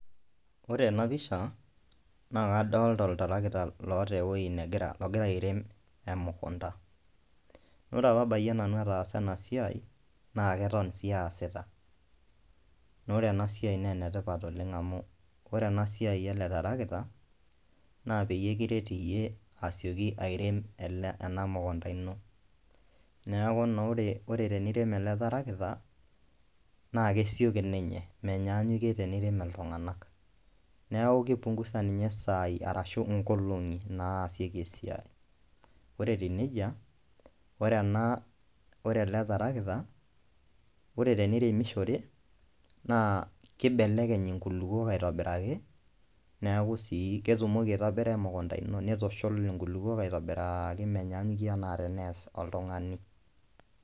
Ore enapisha nakadolta oltarakita oata ewoi nagira airememukunda, ore apa abayie nanu ataasa enasiai na keton sii aasita, ore enasiai na enetipat oleng amu ore enasiai eletarakita na peyie kiret iyie asieki airem ena mukunda ino neaku naa ore tenirem eletarakita na kesioki ninye menyannyikie tenilak ltunganak, neaku kipumguza nye sai ashu nkolongi, ore etiu nejia ore eletarakita ore teneiremishore, kibelekeny nkulukuok aitobiraki neaku sii ketumoki aitobira emukunda ino neaku kitushul nkulukuok aitobiraki menyanyikie teneas oltungani.